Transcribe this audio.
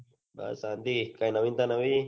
બસ શાંતિ કઈ નવીનતા નવી